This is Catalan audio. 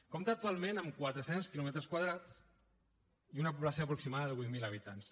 compta actualment amb quatre cents quilòmetres quadrats i una població aproximada de vuit mil habitants